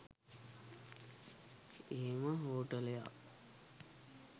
එහෙම හෝටලයක්